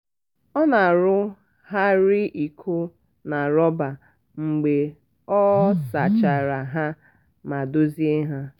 ọ na-arụgharị iko na rọba mgbe ọ sachara ha ma dozie ha.